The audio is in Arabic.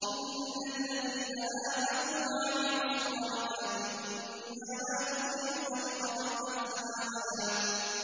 إِنَّ الَّذِينَ آمَنُوا وَعَمِلُوا الصَّالِحَاتِ إِنَّا لَا نُضِيعُ أَجْرَ مَنْ أَحْسَنَ عَمَلًا